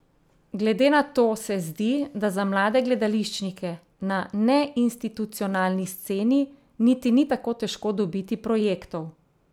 Glede na to se zdi, da za mlade gledališčnike na neinstitucionalni sceni niti ni tako težko dobiti projektov?